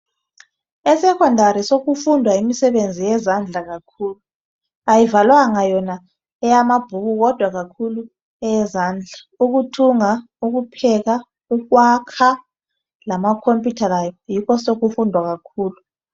ESekhondari sokufundwa imisebenzi yezandla kakhulu. Ayivalwanga yona eyamabhuku kodwa kakhulu eyezandla. Ukuthunga, ukupheka, ukwakha lamakhompiyutha lawo yikho osokufundwa kakhulu.